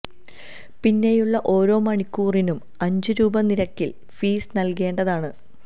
പിന്നേയുള്ള ഓരോ മണിക്കൂറിനും അഞ്ചു രൂപ നിരക്കില് ഫീസ് നല്കേണ്ടതാണ്